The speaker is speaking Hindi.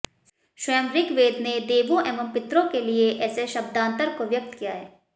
स्वयं ॠग्वेद ने देवों एवं पितरों के लिए ऐसे शब्दान्तर को व्यक्त किया है